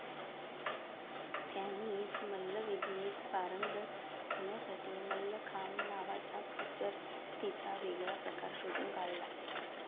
त्यांनीच मल्लविद्येत पारंगत होण्यासाठी मल्लखांब नावाचा कसरतीचा वेगळा प्रकार शोधून काढला.